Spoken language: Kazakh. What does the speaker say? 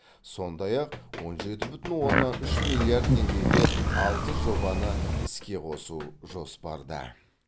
сондай ақ он жеті бүтін оннан үш миллиард теңгеге алты жобаны іске қосу жоспарда